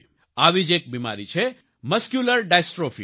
આવી જ એક બિમારી છે મસ્ક્યુલર ડિસ્ટ્રોફી